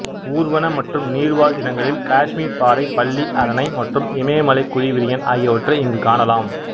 ஊர்வன மற்றும் நீர்வாழ் இனங்களில் காஷ்மீர் பாறை பல்லி அரணை மற்றும் இமயமலை குழி விரியன் ஆகியவற்றை இங்கு காணலாம்